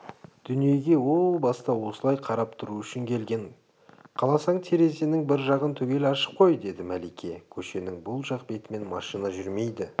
дүниеге о баста осылай қарап тұру үшін келген қаласаң терезенің бір жағын түгел ашып қой -деді мәлике көшенің бұл жақ бетімен машина жүрмейді